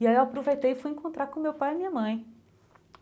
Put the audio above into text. E aí eu aproveitei e fui encontrar com meu pai e minha mãe.